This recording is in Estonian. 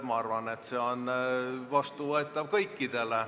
Ma arvan, et see on kõikidele vastuvõetav.